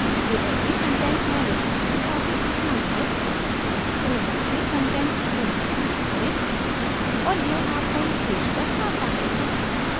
drupal में content manage करना काफी आसान है toolbar में content link पर click करें और यह आपको इस पेज पर लाता है